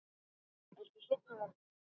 Ertu sofnuð, Erla?